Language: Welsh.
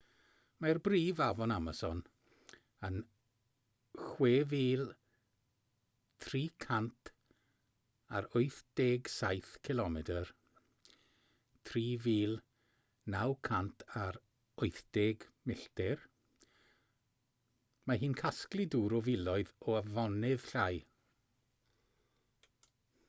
mae'r brif afon amason yn 6,387 cilomedr 3,980 milltir. mae hi'n casglu dŵr o filoedd o afonydd llai